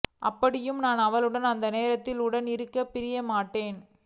அப்படியும் நான் அவளுடன் அந்த நேரத்தில் உடன் இருக்கப் பிரியப்பட்டேன்